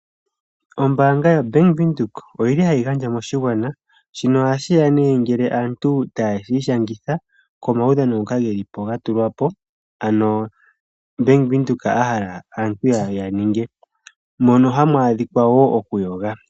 Ombaanga yo-Bank Windhoek, oha yi gandja moshigwana pamukalo ngaashi ngele aantu ta yi shangitha momaudhano ngoka gatulwapo kombaanga. Momaudhano muka omwakawatelwa wo okuyoga.